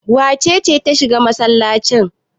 Wace ce ta shiga masallaci?